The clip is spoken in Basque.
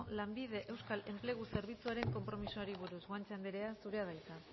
lanbide euskal enplegu zerbitzuaren konpromisoari buruz guanche anderea zurea da hitza